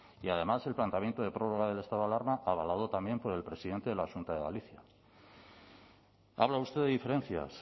y además el planteamiento de prórroga del estado de alarma avalado también por el presidente de la xunta de galicia habla usted de diferencias